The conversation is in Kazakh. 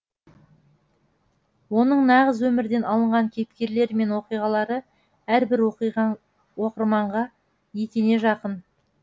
оның нағыз өмірден алынған кейіпкерлері мен оқиғалары әрбір оқырманға етене жақын